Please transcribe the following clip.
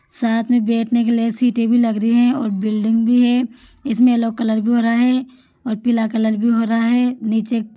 साथ में बेठेने के लिए सीटें भी लग री है और बिल्डिंग भी है इसमें येलो कलर भी हो रा है और पीला कलर भी हो रहा है नीचे --